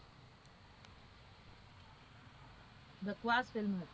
બકવાસ film હતી.